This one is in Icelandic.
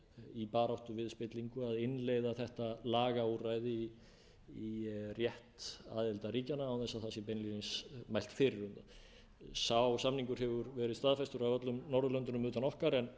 í baráttu við spillingu að innleiða þetta lagaúrræði í rétt aðildarríkjanna án þess að beinlínis sé mælt fyrir um það sá samningur hefur verið staðfestur af öllum norðurlöndunum utan okkar en